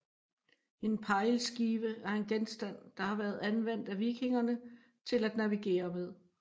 En pejlskive er en genstand der har været anvendt af vikingerne til at navigere med